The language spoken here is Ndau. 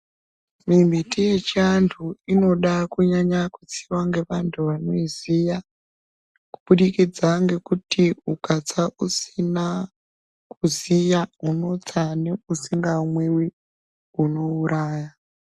Mimbiti yechando inoda kunyanya kutsiwa ngevantu vanoiziya kuburikidza ngekuti ukatsa usina kuziya unotsa neusikamwiwi, unouraya